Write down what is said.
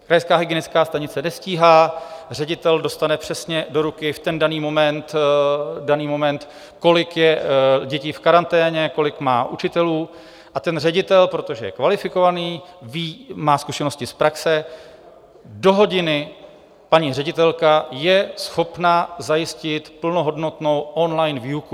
Krajská hygienická stanice nestíhá, ředitel dostane přesně do ruky v daný moment, kolik je dětí v karanténě, kolik má učitelů, a ten ředitel, protože je kvalifikovaný, má zkušenosti z praxe, do hodiny paní ředitelka je schopna zajistit plnohodnotnou on-line výuku.